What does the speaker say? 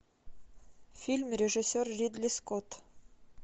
фильм режиссер ридли скотт